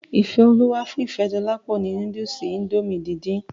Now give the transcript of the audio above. Ifeoluwa fún Ifedolapo ni núdùùsì Índòmí díndín.